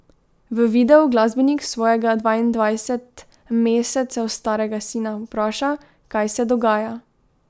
V videu glasbenik svojega dvaindvajset mesecev starega sina vpraša, kaj se dogaja.